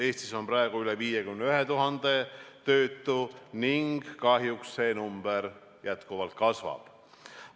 Eestis on praegu üle 51 000 töötu ning kahjuks see number jätkuvalt kasvab.